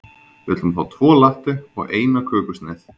Við ætlum að fá tvo latte og eina kökusneið.